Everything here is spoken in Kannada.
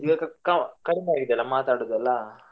ಇವಾಗ ಕ~ ಕಡಿಮೆ ಆಗಿದ್ಯಲಾ ಮಾತಾಡುದು ಎಲ್ಲಾ.